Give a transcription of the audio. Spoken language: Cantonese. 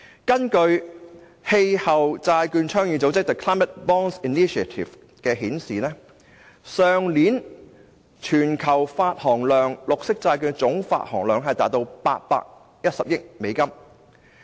根據氣候債券倡議組織發表的數字，去年綠色債券的全球總發行量達810億美元。